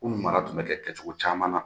Kunu mara kun bɛ kɛ kɛcogo caman na.